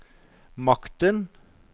makten